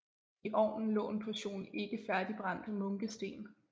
I ovnen lå en portion ikke færdigbrændte munkesten